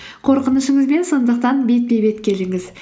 қорқынышыңызбен сондықтан бетпе бет келіңіз